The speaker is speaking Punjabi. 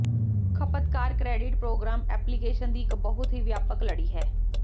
ਖਪਤਕਾਰ ਕ੍ਰੈਡਿਟ ਪ੍ਰੋਗਰਾਮ ਐਪਲੀਕੇਸ਼ਨ ਦੀ ਇੱਕ ਬਹੁਤ ਹੀ ਵਿਆਪਕ ਲੜੀ ਹੈ